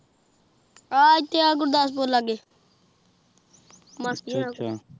ਆਹ ਐਥੇ ਅਹ੍ਹ ਗੁਰ੍ਦਾਸ਼ ਪੁਰ ਲੱਗੇ